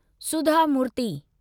सुधा मूर्ति